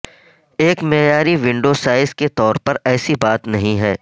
ایک معیاری window size کے طور پر ایسی بات نہیں ہے